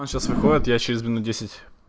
он сейчас выходит я через минут десять